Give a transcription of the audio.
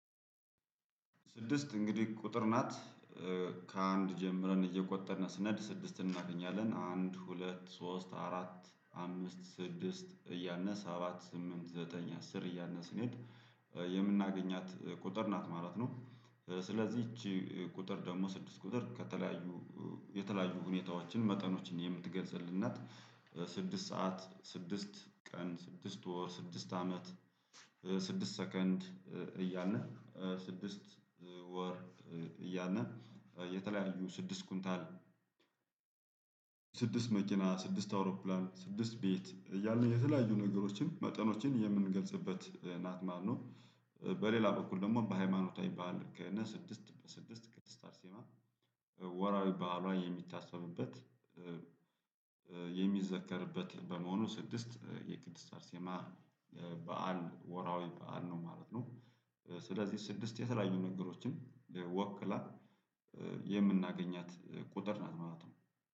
ስድስት እንግዲህ ቁጥር ናት። ከአንድ ጀምረን እየቆጠርን ስንሄድ ስድስትን እናገኛለን። አንድ ሁለት ሶስት አራት አምስት ስድስት እያልን ሰባት ስምንት ዘጠኝ አስር እያልን ስንሄድ የምናገኛት ቁጥር ናት ማለት ነው። ስለዚህ ይቺ ቁጥር ደግሞ ስድስት ቁጥር ከተለያዩ የተለያዩ ሁኔታዎችን መጠኖችን የምትገልጽልን ናት። ስድስት ሰዓ፣ ስድስት ቀን፣ ስድስት ወር፣ ስድስት አመት፣ ስድስት ሰከንድ እያልን ስድስት ወር እያልን የተለያዩ ስድስት ኩንታል ስድስት መኪና፣ ስድስት አውሮፕላን፣ ስድስት ቤት እያልን የተለያዩ ነገሮችን መጠኖችን የምንገልጽበት ናት ማለት ነው። በሌላ በኩል ደግሞ በሃይማኖታዊ በዓል ከሆነ ስድስት በስድስት ቅድስት አርሴማ ወርሃዊ በዓሏ የሚታሰብበት የሚዘከርበት በመሆኑ ስድስት የቅድስት አርሴማ በዓል ወርሃዊ በዓል ነው ማለት ነው። ስለዚህ ስድስት የተለያዩ ነገሮችን ወክላ የምናገኛት ቁጥር ናት ማለት ነው።